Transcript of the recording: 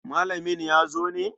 Malamin ya zo ne?